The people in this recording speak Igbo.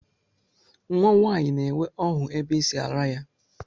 Nnwa nwaanyị na-enwe ọhụ ebe e si ara ya